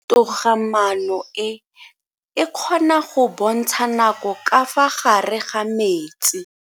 Toga-maano e, e kgona go bontsha nako ka fa gare ga metsi.